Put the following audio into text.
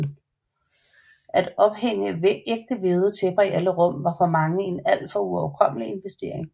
At ophænge ægte vævede tæpper i alle rum var for mange en al for uoverkommelig investering